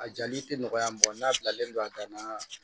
A jali tɛ nɔgɔya n'a bilalen don a dan na